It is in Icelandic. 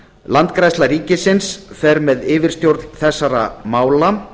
landgræðsla ríkisins fer með yfirstjórn þessara mála